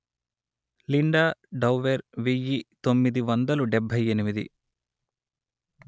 Linda Dower వెయ్యి తొమ్మిది వందలు డెబ్బై ఎనిమిది